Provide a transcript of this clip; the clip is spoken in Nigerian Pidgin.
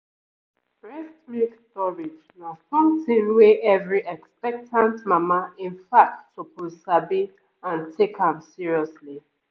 breast milk storage na something wey every expectant mama in fact suppose sabi and take am seriously